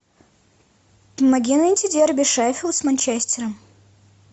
помоги найти дерби шеффилд с манчестером